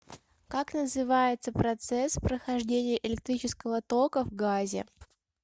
как называется процесс прохождения электрического тока в газе